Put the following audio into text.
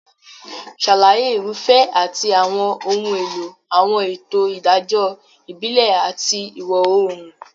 Ṣàlàyé irúfẹ́ àti àwọn ohun èlò àwọn ètò ìdájọ́ ìbílẹ̀ àti ìwọ̀-oòrùn.